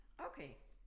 Okay